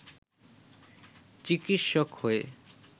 চিকিৎসক হয়ে